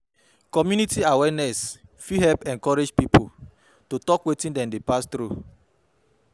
Community awareness fit help encourage pipo to tok wetin dem dey pass thru